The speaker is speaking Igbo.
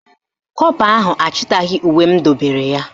Kọpa ahụ achịtaghị uwe m dobere ya